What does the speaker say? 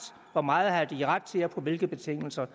hvor meget de har ret til og på hvilke betingelser